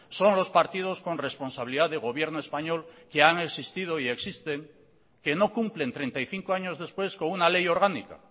son los partidos con responsabilidad de gobierno español que han existido y existen que no cumplen treinta y cinco años después con una ley orgánica